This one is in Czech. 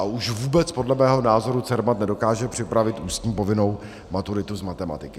A už vůbec podle mého názoru Cermat nedokáže připravit ústní povinnou maturitu z matematiky.